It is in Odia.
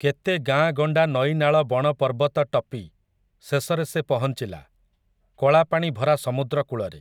କେତେ ଗାଁ'ଗଣ୍ଡା ନଈନାଳ ବଣପର୍ବତ ଟପି, ଶେଷରେ ସେ ପହଞ୍ଚିଲା, କଳାପାଣି ଭରା ସମୁଦ୍ରକୂଳରେ ।